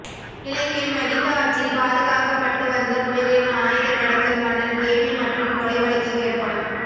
இலங்கையில் மகிந்த ஆட்சியில் பாதுக்காக் பட்டு வந்த புலிகளின் அயுத கடத்தல் மன்னன் கேபி மற்றும் கொலை வழக்கில் தேடப்படும்